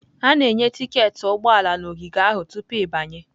A na-enye tiketi ụgbọ ala na ogige ahụ tupu ịbanye.